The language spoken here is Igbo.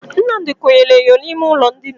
Nnamdi konyere enyo n'ime ụlọ ndina.